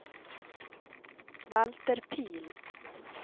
Valter Pihl